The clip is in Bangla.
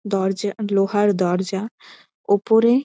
দরজা লোহার দরজা ওপরে--